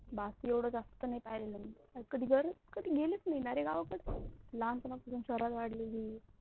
बाकी एवडच असते कधी गरज कधी गेलेच नही न रे गावाकड, लहान पणा पासुन शहरात वाढलेली